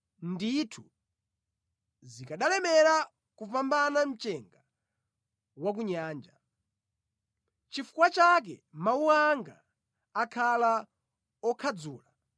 Ndithu, zikanalemera kupambana mchenga wa ku nyanja; nʼchifukwa chake mawu anga akhala okhadzula.